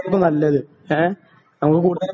അതായിരുന്നു നല്ലത് എ നമുക്ക്